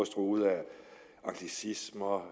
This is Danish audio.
truet af anglicismer